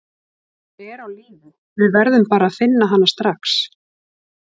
Hún er á lífi, við verðum bara að finna hana strax.